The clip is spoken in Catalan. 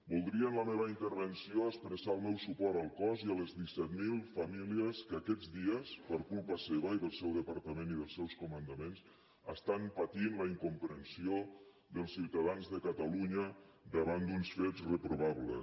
voldria en la meva intervenció expressar el meu suport al cos i a les disset mil famílies que aquests dies per culpa seva i del seu departament i dels seus comandaments estan patint la incomprensió dels ciutadans de catalunya davant d’uns fets reprovables